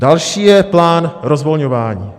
Další je plán rozvolňování.